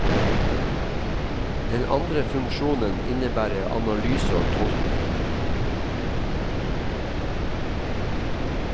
Den andre funksjonen innebærer analyse og tolkning.